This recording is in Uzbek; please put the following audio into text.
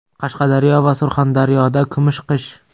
Qashqadaryo va Surxondaryoda kumush qish.